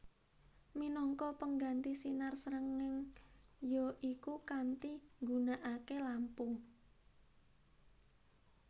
Minangka pengganti sinar srengeng ya iku kanthi nggunakake lampu